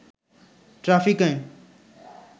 traffic আইন